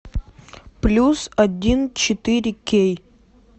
плюс один четыре кей